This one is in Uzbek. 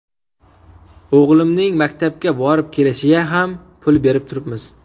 O‘g‘limning maktabga borib kelishiga ham pul berib turibmiz.